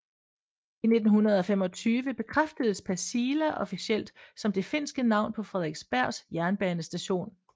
I 1925 bekræftedes Pasila officielt som det finske navn på Fredriksbergs jernbanestation